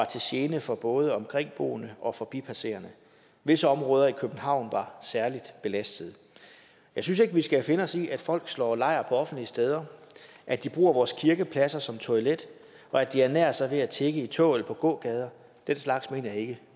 til gene for både omkringboende og forbipasserende visse områder i københavn var særlig belastede jeg synes ikke vi skal finde os i at folk slår lejr på offentlige steder at de bruger vores kirkepladser som toilet og at de ernærer sig ved at tigge i tog eller på gågader den slags mener jeg ikke